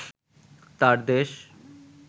তার দেশ